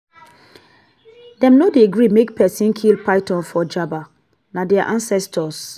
dem no dey gree make pesin kill python for njaba na their ancestors.